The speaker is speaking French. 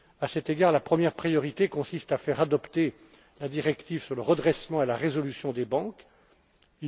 À cet égard, la première priorité consiste à faire adopter la directive sur le redressement et la résolution des défaillances des banques.